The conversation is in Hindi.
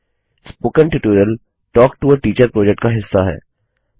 spoken tutorial talk to a teacher project का हिस्सा है